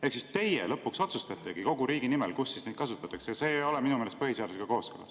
Ehk teie lõpuks otsustategi kogu riigi nimel, kus neid kasutatakse, ja see ei ole minu meelest põhiseadusega kooskõlas.